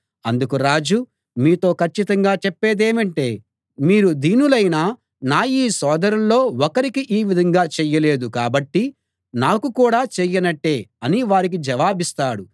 అందుకు రాజు మీతో కచ్చితంగా చెప్పేదేమంటే మీరు దీనులైన నా ఈ సోదరులలో ఒకరికి ఈ విధంగా చేయలేదు కాబట్టి నాకు కూడా చేయనట్టే అని వారికి జవాబిస్తాడు